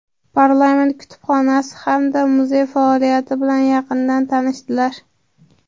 parlament kutubxonasi hamda muzey faoliyati bilan yaqindan tanishdilar.